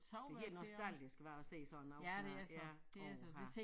Det helt nostalgisk hva at se sådan noget sådan her ja åha